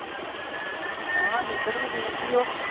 ਹਾਂ ਨਿੰਦਰ ਵੀ ਠੀਕ ਹੀ ਓ।